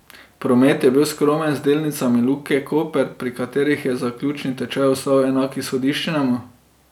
Promet je bil skromen z delnicami Luke Koper, pri katerih je zaključni tečaj ostal enak izhodiščnemu.